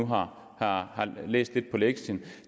her løfte